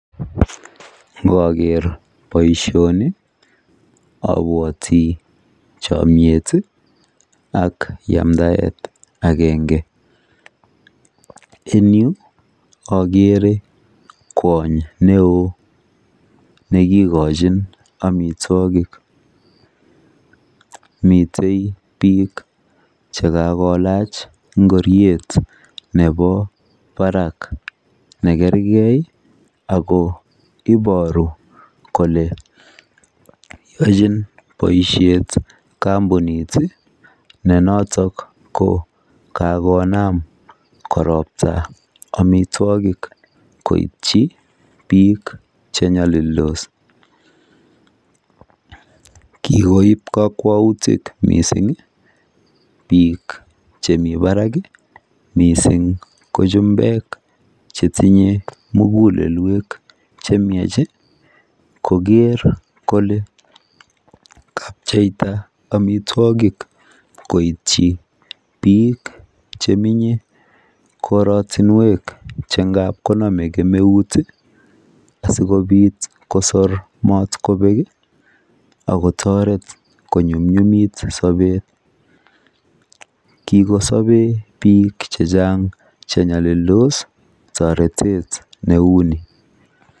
Igoker boishoni ibwotii chomiet ak yamdayet agenge en yuu okere kwonyik neo nekikochin omitwokik, miten bik chekakolach ngoriet nebo barak nekergee ako iboru kole yochin boishet kompunit tii ne noton ko kakonam koropta omitwokik koityi bik chenyolildos. Kikoin kokwoutik missingi bik chemii barak kii missing ko chumbek chetinye mugulelwek chemiach koker kole kapcheita omitwokik koityi bik chemenyech korotunwek che anan konome kemeut tii asikopit kosir motkobek kii ak kotoret konyumnyumit sobet . Kikosoben bik chechang chenyolildos toretet neuni.